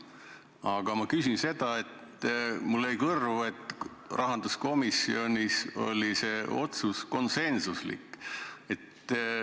Aga küsin selle kohta, et mulle jäi kõrvu, et rahanduskomisjonis oli see otsus konsensuslik.